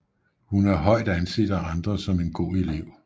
Hun er højt anset af andre som en god elev